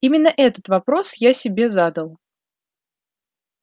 именно этот вопрос я себе задал